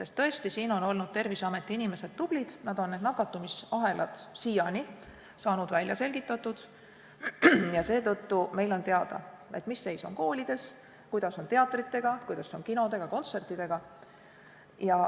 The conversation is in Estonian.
Tõesti, siin on olnud Terviseameti inimesed tublid, nad on nakatumisahelad siiani välja selgitanud ja seetõttu on meil teada, mis seis on koolides, kuidas on teatritega, kinodega, kontsertidega.